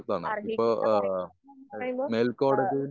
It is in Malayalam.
അറിഹിക്കുന്ന പരിഗണന ന്ന് പറയുമ്പോ ഏഹ്